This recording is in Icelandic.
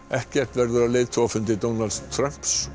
ekkert verður af leiðtogafundi Donalds Trump